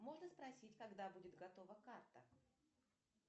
можно спросить когда будет готова карта